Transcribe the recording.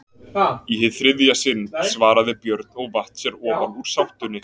Í hið þriðja sinn, svaraði Björn og vatt sér ofan úr sátunni.